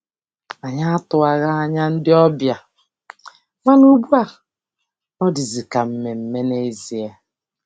Anyị atụwaghị anya ndị ọbịa, mana ugbu a ọ dịzi ka mmemme n'ezie.